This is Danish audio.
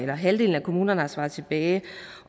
hvor halvdelen af kommunerne har svaret tilbage